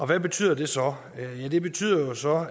hvad betyder det så det betyder jo så